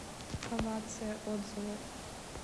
овация отзывы